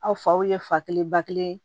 Aw faw ye fa kelen ba kelen